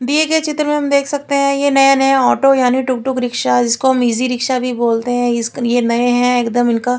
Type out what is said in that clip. दिए गए चित्र में हम देख सकते है ये नये नये ओटो है यानी टुक टुक रिक्शा जिनको हम इजी रिक्शा भी बोलते है इस ये नए है एकदम इनका--